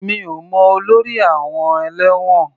Mi ò mọ olórí àọn ẹ̀lẹ́wọ̀n.